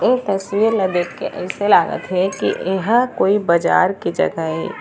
ये तस्वीर ला देख के अइसे लागत हे की ये कोई बाजार के जगह ए--